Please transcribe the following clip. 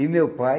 E meu pai,